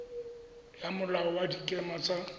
ya molao wa dikema tsa